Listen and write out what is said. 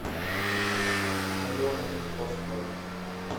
алена паскаль